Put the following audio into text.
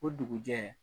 O dugujɛ